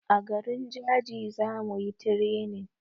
A garin jaji zamuyi tirenin